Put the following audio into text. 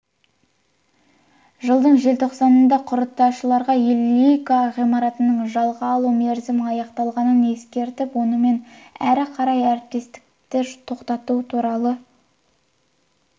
жылдың желтоқсанында құрылтайшылар лиге ғимаратының жалға алу мерзімі аяқталғанын ескертіп онымен әрі қарай әріптестікті тоқтату туралы